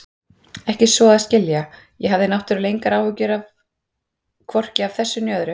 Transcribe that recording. Ekki svo að skilja- ég hafði náttúrlega engar áhyggjur hvorki af þessu né öðru.